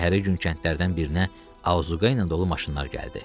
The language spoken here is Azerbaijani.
Səhərisi gün kəndlərdən birinə Azuqa ilə dolu maşınlar gəldi.